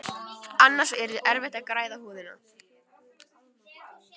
Annars yrði erfitt að græða húðina.